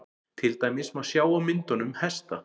til dæmis má sjá á myndunum hesta